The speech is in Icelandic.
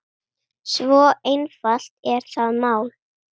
Svo einfalt er það mál.